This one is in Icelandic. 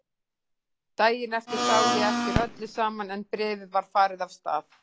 Daginn eftir sá ég eftir öllu saman en bréfið var farið af stað.